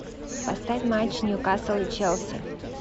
поставь матч ньюкасл и челси